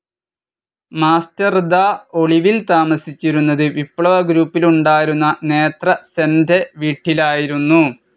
മാസ്റ്റർദാ ഒളിവിൽ താമസിച്ചിരുന്നത് വിപ്ലവ ഗ്രൂപ്പിലുണ്ടായിരുന്ന നേത്ര സെന്റെ വീട്ടിലായിരുന്നു.